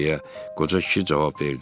deyə qoca kişi cavab verdi.